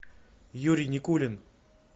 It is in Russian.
юрий никулин